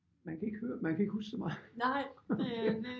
Man kan ikke høre man kan ikke huske så meget